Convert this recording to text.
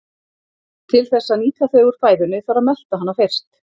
Til þess að nýta þau úr fæðunni þarf að melta hana fyrst.